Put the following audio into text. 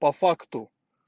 по факту